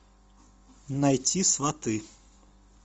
найти сваты